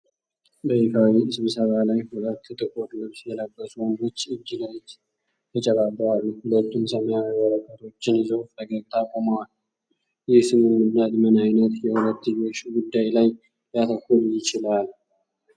በይፋዊ ስብሰባ ላይ፣ ሁለት ጥቁር ልብስ የለበሱ ወንዶች እጅ ለእጅ ተጨባብጠው አሉ። ሁለቱም ሰማያዊ ወረቀቶችን ይዘው ፈገግታ ቆመዋል። ይህ ስምምነት ምን ዓይነት የሁለትዮሽ ጉዳይ ላይ ሊያተኩር ይችላል?